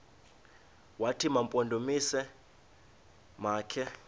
wathi mampondomise makhe